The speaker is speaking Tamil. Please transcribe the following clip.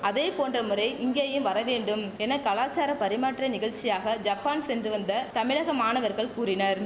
அதே போன்ற முறை இங்கேயும் வர வேண்டும் என கலாசார பரிமாற்ற நிகழ்ச்சியாக ஜப்பான் சென்று வந்த தமிழக மாணவர்கள் கூறினர்